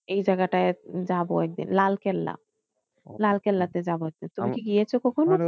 এই জায়গাটায় যাবো একদিন লালকেল্লা। লালকেল্লাতে যাবো একদিন তুমি কি গিয়েছো কখনো?